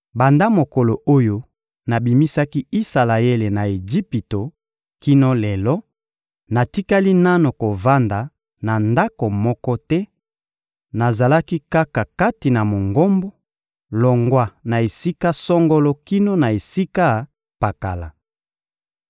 Banda mokolo oyo nabimisaki Isalaele na Ejipito kino lelo, natikali nanu kovanda na ndako moko te; nazalaki kaka kati na Mongombo, longwa na esika songolo kino na esika pakala.